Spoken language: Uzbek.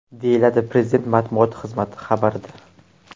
deyiladi Prezident matbuot xizmati xabarida.